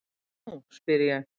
Hvað nú? spyr ég.